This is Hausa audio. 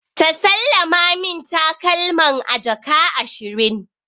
Ta sallama min takalman a jaka ashirin.